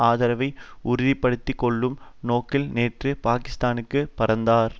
ஆதரவை உறுதி படுத்தி கொள்ளும் நோக்கில் நேற்று பாகிஸ்தானுக்கு பறந்தார்